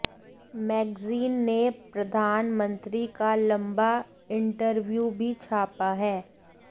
magazine ने प्रधानमंत्री का लंबा इंटरव्यू भी छापा है